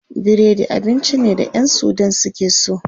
Biredi abinci ne da ƴan sudan suke so.